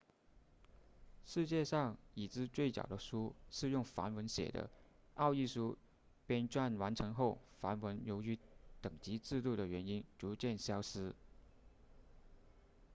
世界上已知最早的书是用梵文写的奥义书编撰完成后梵文由于等级制度的原因逐渐消失